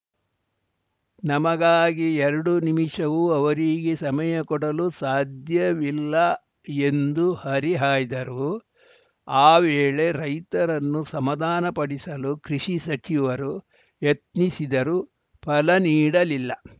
ನಮಗಾಗಿ ಎರಡು ನಿಮಿಷವೂ ಅವರಿಗೆ ಸಮಯ ಕೊಡಲು ಸಾಧ್ಯವಿಲ್ಲ ಎಂದು ಹರಿಹಾಯ್ದರು ಆ ವೇಳೆ ರೈತರನ್ನು ಸಮಾಧಾನಪಡಿಸಲು ಕೃಷಿ ಸಚಿವರು ಯತ್ನಿಸಿದರೂ ಫಲ ನೀಡಲಿಲ್ಲ